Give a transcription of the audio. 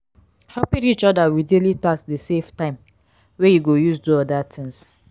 helping each other with daily task de save time wey you go use do other things